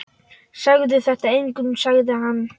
Segðu þetta engum sagði hann.